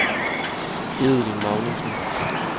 Edel Magnussen